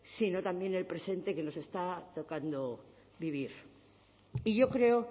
sino también en el presente que nos está tocando vivir y yo creo